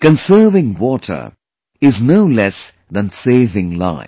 Conserving water is no less than saving life